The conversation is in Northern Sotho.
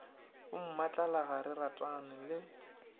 bommatlala ga re ratane le